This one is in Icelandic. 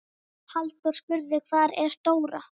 Halldór spurði: Hvar er Dóra?